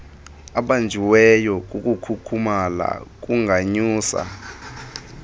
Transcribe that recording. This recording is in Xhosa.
ebanjiweyo ukukhukhumala kunganyusa